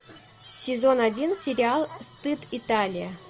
сезон один сериал стыд италия